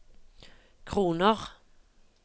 kroner